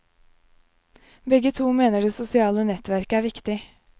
Begge to mener det sosiale nettverket er viktig.